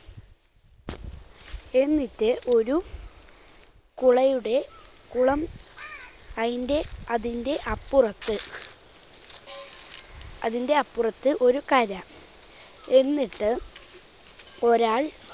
എന്നിട്ട് ഒരു കുളയുടെ കുളം അയിന്റെ അതിന്റെ അപ്പുറത്ത് അതിന്റെ അപ്പുറത്ത് ഒരു കര. എന്നിട്ട് ഒരാൾ